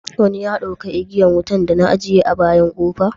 Wani ya dauka igiyan wutan da na ajiye a bayan kofa?